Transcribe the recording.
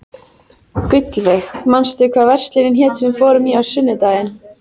Gullveig, manstu hvað verslunin hét sem við fórum í á sunnudaginn?